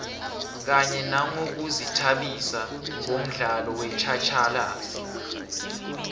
kanye nangokuzithabisa ngomdlalo wetjhatjhalazi